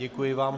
Děkuji vám.